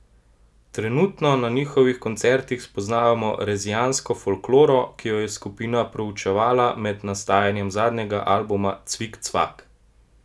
Trenutno na njihovih koncertih spoznavamo rezijansko folkloro, ki jo je skupina proučevala med nastajanjem zadnjega albuma Cvik cvak!